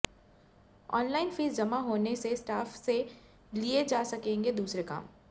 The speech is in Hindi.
ऑनलाइन फीस जमा होने से स्टाफ से लिए जा सकेंगे दूसरे काम